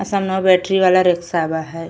असल में बैटरी वाला रिक्शा बा ह।